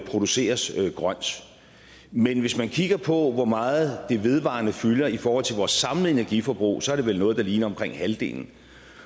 produceres grønt men hvis man kigger på hvor meget det vedvarende fylder i forhold til vores samlede energiforbrug så er det vel noget der ligner omkring halvdelen